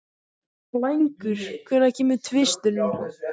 Blængur, hvenær kemur tvisturinn?